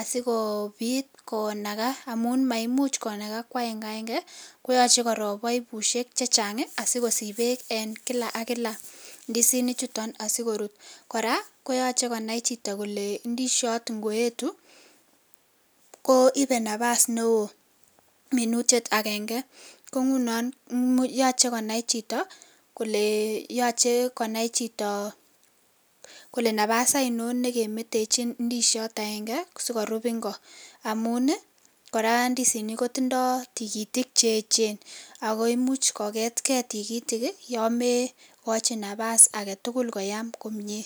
asigobit konaga amun maimuch konaga ko aengeaenge koyoche korob baibushiek chechang asikosich bek en kila AK kila ndisinik chuton asikorut kora koyoche konai Chito Kole ndisiyot ngoyetu ko Ibe nafas neo minutiet agenge ko ngunon koyoche konai Chito Kole yoche Kole nafas ainon nekemwtechin ndisiyot akenge asikorub Ingo amun kora ndisinik kotindo tikitik cheyechen ako imuch kogetken tigitik yon mekochi nafas agetugul koyam komnye.